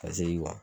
Ka segi